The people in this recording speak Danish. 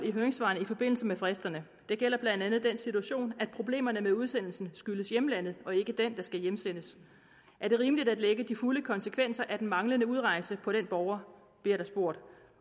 i høringssvarene i forbindelse med fristerne det gælder blandt andet den situation at problemerne med udsendelsen skyldes hjemlandet og ikke den der skal hjemsendes er det rimeligt at lægge de fulde konsekvenser af den manglende udrejse på den borger bliver der spurgt